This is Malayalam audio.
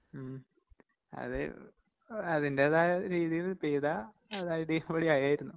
ഉം അതെ അതിന്റേതായ രീതിയിൽ പെയ്താ അത് അടിപൊളിയായിരുന്നു.